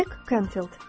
Jack Canfield.